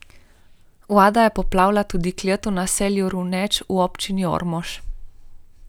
Voda je poplavila tudi klet v naselju Runeč v občini Ormož.